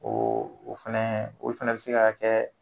O o fɛnɛ, olu fɛnɛ be se ka kɛ